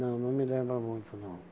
Não, não me lembra muito não.